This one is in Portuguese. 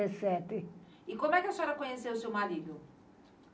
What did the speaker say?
E como é que a senhora conheceu o seu marido?